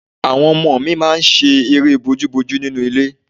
Àwọn ọmọ mi máa ń ṣe eré bójúbojú nínú ilé